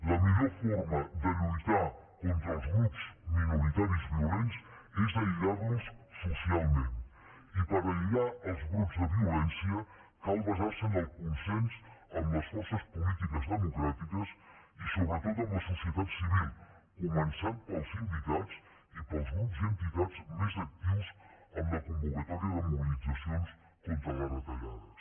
la millor forma de lluitar contra els grups minoritaris violents és aïllar los socialment i per aïllar els brots de violència cal basar se en el consens amb les forces polítiques democràtiques i sobretot amb la societat civil començant pels sindicats i pels grups i entitats més actius en la convocatòria de mobilitzacions contra les retallades